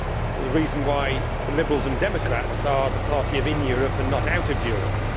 This is the reason why the Liberals and Democrats are the party of in Europe' and not out of Europe'.